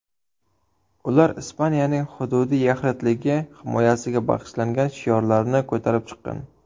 Ular Ispaniyaning hududiy yaxlitligi himoyasiga bag‘ishlangan shiorlarni ko‘tarib chiqqan.